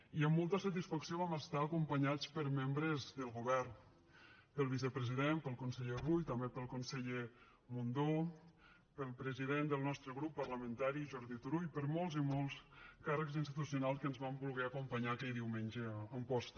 i amb molta satisfacció vam estar acompanyats per membres del govern pel vicepresident pel conseller rull també pel conseller mundó pel president del nostre grup parlamentari jordi turull per molts i molts càrrecs institucionals que ens van voler acompanyar aquell diumenge a amposta